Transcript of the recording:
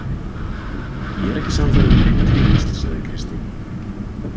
Ég er ekki sannfærð um nein tengsl, sagði Kristín.